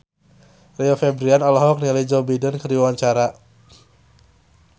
Rio Febrian olohok ningali Joe Biden keur diwawancara